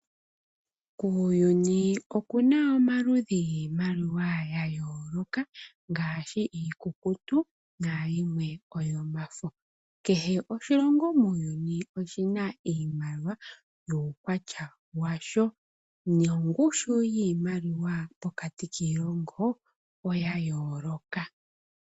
Kuuyuni oku na maludhi giimaliwa ya yooloka, ngaashi iikukutu, nayimwe oyomafo. Kehe oshilongo muuyuni oshi na iimaliwa yuukwatya washo, nongushu yiimaliwa pokati kiilongo oya yooloka.